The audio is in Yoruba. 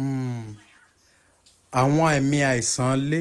um awọn aami aisan le